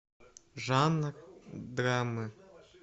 жанр драмы